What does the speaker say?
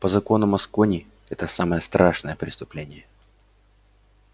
по законам аскони это самое страшное преступление